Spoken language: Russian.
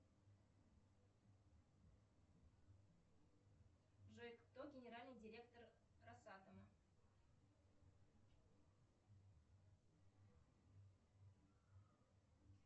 джой кто генеральный директор росатома